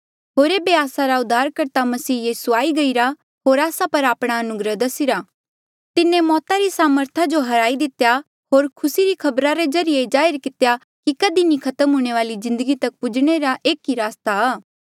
होर एेबे आस्सा रा उद्धारकर्ता मसीह यीसू आई गईरा होर आस्सा पर आपणा अनुग्रह दसिरा तिन्हें मौता री सामर्था जो हराई दितेया होर खुसी री खबरा रे ज्रीए ये जाहिर कितेया कि कधी नी खत्म हूंणे वाली जिन्दगी तक पूजणे रे एक रस्ता